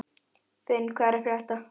Finn, hvað er að frétta?